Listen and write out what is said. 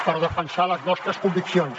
per defensar les nostres conviccions